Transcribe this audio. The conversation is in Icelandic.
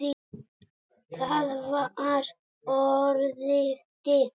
Það var orðið dimmt.